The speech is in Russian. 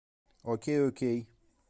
окей окей